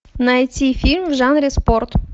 найти фильм в жанре спорт